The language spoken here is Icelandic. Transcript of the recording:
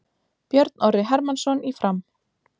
Björn Orri Hermannsson í Fram